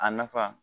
A nafa